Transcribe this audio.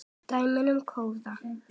Dæmi um kóða